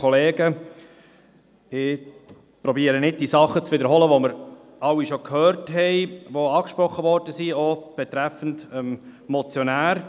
Ich versuche nicht, die Dinge zu wiederholen, die wir bereits gehört haben und die angesprochen wurden, auch was den Motionär betrifft.